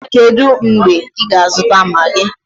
Kedụ mgbe ị ga-azụta maagi?